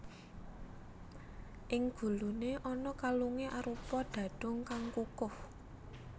Ing guluné ana kalungé arupa dhadhung kang kukuh